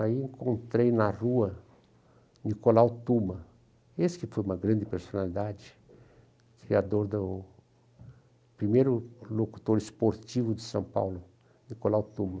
Aí encontrei na rua Nicolau Tuma, esse que foi uma grande personalidade, criador do primeiro locutor esportivo de São Paulo, Nicolau Tuma.